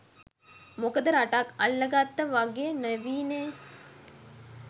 මොකද රටක් අල්ලගත්ත වගෙ නෙවී නෙ